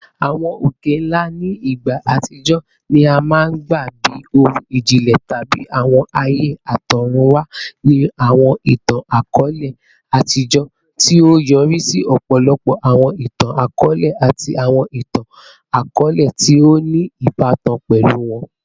Awọn oke-nla ni igba atijọ ni a maa n gba bi ohun ijinlẹ tabi awọn aaye atọrunwa ni awọn itan-akọọlẹ atijọ, ti o yori si ọpọlọpọ awọn itan-akọọlẹ ati awọn itan-akọọlẹ ti o ni ibatan pẹlu wọn.